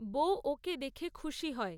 বউ ওকে দেখে খুশি হয়।